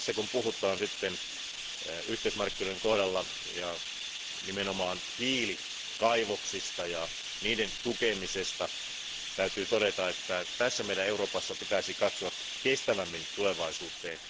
Kun puhutaan yhteismarkkinoiden kohdalla nimenomaan hiilikaivoksista ja niiden tukemisesta, täytyy todeta, että meidän Euroopassa tulisi katsoa kestävämmin tulevaisuuteen.